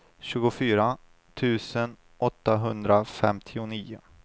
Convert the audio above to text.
tjugofyra tusen åttahundrafemtionio